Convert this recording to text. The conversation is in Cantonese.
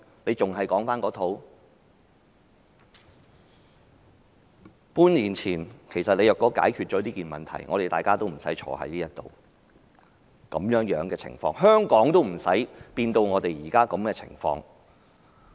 半年前，如果政府解決了問題，我們今天便不會在這裏辯論這項議案，香港也不會變成現在的情況。